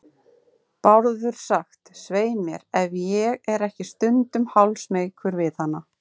Bárður sagt, svei mér, ef ég er ekki stundum hálfsmeykur við hana.